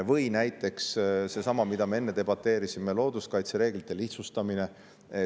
Või näiteks seesama, mille üle me enne debateerisime, looduskaitse reeglite lihtsustamine.